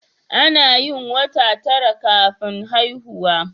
Anayin wata tara kafin haihuwa